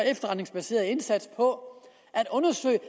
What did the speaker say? efterretningsbaserede indsats på at undersøge